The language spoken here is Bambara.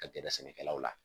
Ka gɛrɛ sɛnɛkɛlaw la